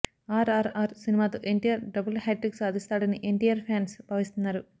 ఆర్ఆర్ఆర్ సినిమాతో NTR double hat trick సాధిస్తాడని NTR fans భావిస్తున్నారు